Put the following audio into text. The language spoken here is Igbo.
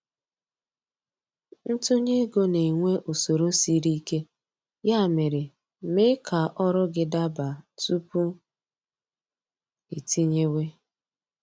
Ntunye ego na-enwe usoro sịrị ike, ya mere, mee ka ọrụ gị daba tupu iitinyewe